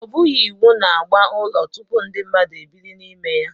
O bughị iwu na agba ụlọ tupu ndị mmadụ ebiri n'ime ya